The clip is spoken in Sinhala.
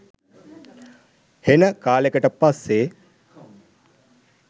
හෙන කාලෙකට පස්සේ